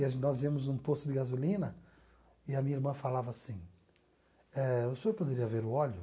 E a gen nós íamos num posto de gasolina e a minha irmã falava assim eh, o senhor poderia ver o óleo?